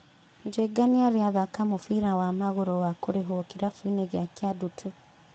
Njenga nĩarĩ athaka mũbira wa magũrũ wa kũrĩhwo kĩrabuinĩ gĩa Kĩandutu.